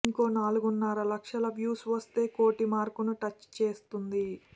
ఇంకో నాలుగున్నర లక్షల వ్యూస్ వస్తే కోటి మార్కును టచ్ చేసేస్తుంది